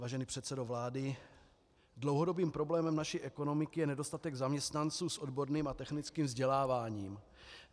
Vážený předsedo vlády, dlouhodobým problémem naší ekonomiky je nedostatek zaměstnanců s odborným a technickým vzděláváním.